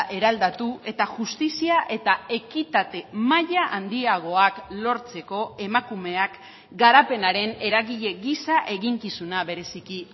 eraldatu eta justizia eta ekitate maila handiagoak lortzeko emakumeak garapenaren eragile gisa eginkizuna bereziki